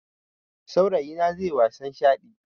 Saurayina zaiyi wasan shaɗi